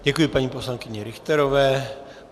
Děkuji paní poslankyni Richterové.